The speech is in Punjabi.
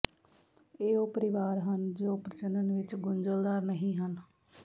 ਇਹ ਉਹ ਪਰਿਵਾਰ ਹਨ ਜੋ ਪ੍ਰਜਨਨ ਵਿਚ ਗੁੰਝਲਦਾਰ ਨਹੀਂ ਹਨ